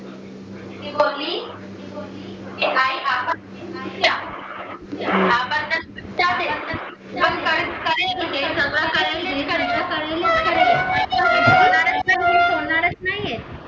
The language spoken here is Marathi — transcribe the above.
ती बोलली